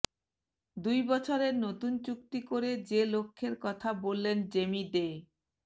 দুই বছরের নতুন চুক্তি করে যে লক্ষ্যের কথা বললেন জেমি ডে